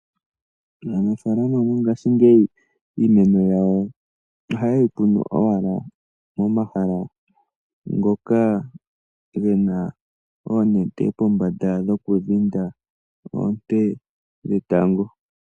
Aanafalama yomongashiingeyi iimeno yawo oha yeyi kunu owala momahala ngoka gena oonete pombanda dhokudhinda oonte dhetango.